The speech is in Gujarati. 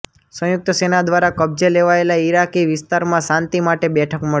સંયુક્ત સેના દ્વારા કબ્જે લેવાયેલા ઈરાકી વિસ્તારમાં શાંતિ માટે બેઠક મળી